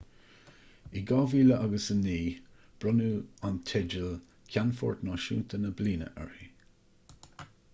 in 2009 bronnadh an teideal ceannfort náisiúnta na bliana uirthi